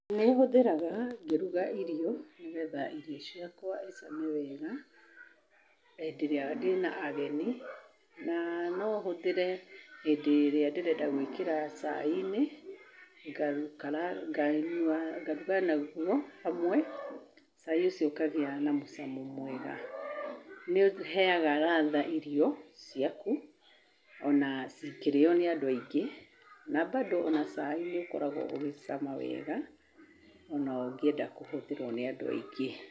Nĩ hũthĩraga ngĩruga irio nĩgetha irio ciakwa icame wega, hĩndĩ ĩrĩa ndĩna ageni, na no hũthĩre hĩndĩ ĩrĩa ndĩrenda gwĩkĩra cai-inĩ, ngaikara, nganyua ngaruga naguo hamwe, cai ũcio ũkagĩa na mũcamo mwega. Nĩũheaga radha irio ciaku, ona cikĩrĩo nĩ andũ aingĩ, na bado ona cai nĩ ũkoragwo ũgĩcama wega ona ũngĩenda kũhũthĩrwo nĩ andũ aingĩ.